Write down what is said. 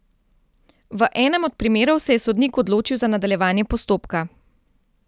V enem od primerov se je sodnik odločil za nadaljevanje postopka.